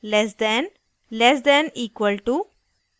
less than less than less than equal to less than equal to